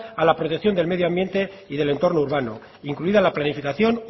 a la protección del medio ambiente y del entorno urbano incluida la planificación